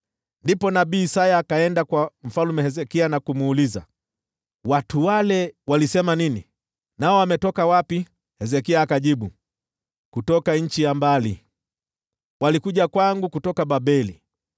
Ndipo nabii Isaya akaenda kwa Mfalme Hezekia na kumuuliza, “Watu hao walisema nini, na wametoka wapi?” Hezekia akamjibu, “Wametoka nchi ya mbali. Walikuja kwangu kutoka Babeli.”